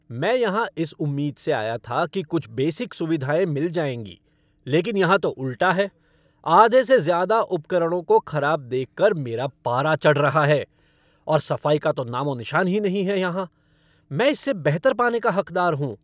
मैं यहाँ इस उम्मीद से आया था कि कुछ बेसिक सुविधाएँ मिल जाएँगी लेकिन यहाँ तो उल्टा है। आधे से ज़्यादा उपकरणों को खराब देख कर मेरा पारा चढ़ रहा है। और सफ़ाई का तो नामो निशान ही नहीं है यहाँ। मैं इससे बेहतर पाने का हकदार हूँ।